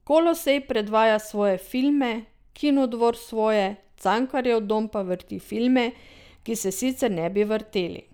Kolosej predvaja svoje filme, Kinodvor svoje, Cankarjev dom pa vrti filme, ki se sicer ne bi vrteli.